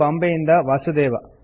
ಬಾಂಬೆ ಇಂದ ವಾಸುದೇವ